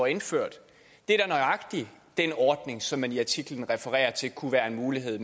indført det er da nøjagtig den ordning som man i artiklen refererer til kunne være en mulighed